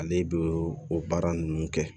Ale bɛ o baara ninnu kɛ